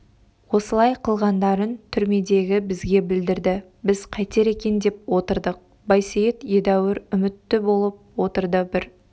осылай қылғандарын түрмедегі бізге білдірді біз қайтер екен деп отырдық байсейіт едәуір үмітті болып отырды бір